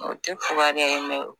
O tɛ fugariya ye